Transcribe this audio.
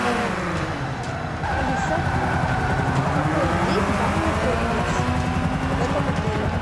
алиса какой здесь банный комплекс в этом отеле